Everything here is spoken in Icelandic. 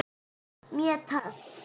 Mjög töff.